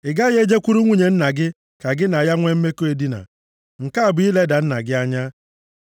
“ ‘Ị gaghị e jekwuru nwunye nna gị ka gị na ya nwe mmekọ edina. Nke a bụ ileda nna gị anya.